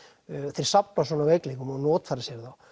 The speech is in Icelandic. þeir safna svona veikleikum og notfæra sér þá